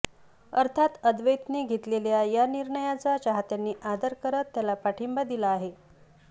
अर्थात अद्वैतने घेतलेल्या या निर्णयाचा चाहत्यांनी आदर करत त्याला पाठिंबा दिला आहे